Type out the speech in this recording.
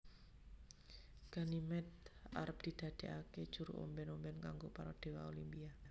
Ganymede arep didadeake juru omben omben kanggo para dewa Olimpia